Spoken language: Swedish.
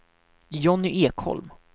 Jonny Ekholm